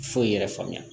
Foyi yɛrɛ faamuya